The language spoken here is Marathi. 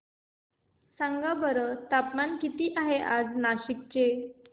सांगा बरं तापमान किती आहे आज नाशिक चे